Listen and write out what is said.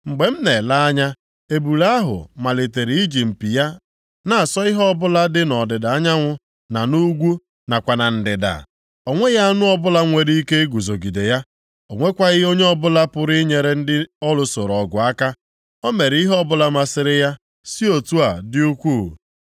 Mgbe m na-ele anya, ebule ahụ malitere iji mpi ya na-asọ ihe o bụla dị nʼọdịda anyanwụ na nʼugwu nakwa na ndịda. O nweghị anụ ọbụla nwere ike iguzogide ya, o nwekwaghị onye ọbụla pụrụ inyere ndị ọ lụsoro ọgụ aka. O mere ihe ọbụla masịrị ya si otu a dị ukwuu.